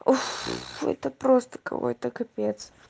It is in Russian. это просто какой-то капец